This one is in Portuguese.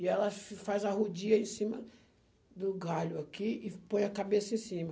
E ela faz a rodia em cima do galho aqui e põe a cabeça em cima.